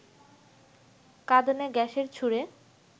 কাঁদানে গ্যাসের ছুড়ে